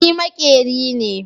Ni makeri me.